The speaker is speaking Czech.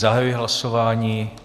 Zahajuji hlasování.